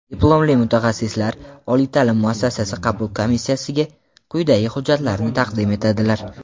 diplomli mutaxassislar) oliy taʼlim muassasasi qabul komissiyasiga quyidagi hujjatlarni taqdim etadilar:.